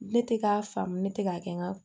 Ne tɛ k'a faamu ne tɛ k'a kɛ n ka